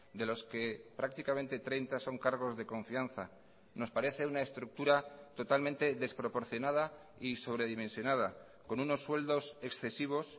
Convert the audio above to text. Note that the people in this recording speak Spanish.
de los que prácticamente treinta son cargos de confianza nos parece una estructura totalmente desproporcionada y sobredimensionada con unos sueldos excesivos